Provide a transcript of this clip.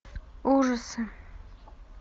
ужасы